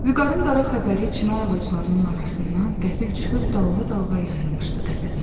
Vüqarın qara xəbəri çinar ağaclarının arasından qəfil çıxıb dalğa-dalğa yayılmışdı qəsəbəmizə.